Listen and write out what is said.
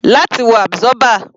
Láti wo absorber.